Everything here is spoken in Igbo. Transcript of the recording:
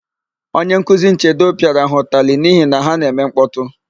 Onyenkuzi Nchedo pịara ha ụtalị n'ihi na ha na-eme nkpọtụ.